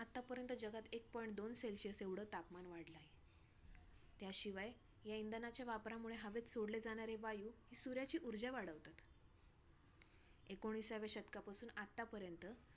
आतापर्यंत जगात एक point दोन celsius एवढं तापमान वाढलं आहे. त्याशिवाय ह्या इंधनाच्या वापरामुळे हवेत सोडले जाणारे वायु, ही सूर्याची ऊर्जा वाढवतात. एकोणिसाव्या शतकापासून आतापर्यंत